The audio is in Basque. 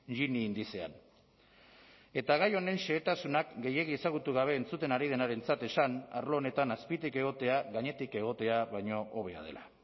gini indizean eta gai honen xehetasunak gehiegi ezagutu gabe entzuten ari denarentzat esan arlo honetan azpitik egotea gainetik egotea baino hobea dela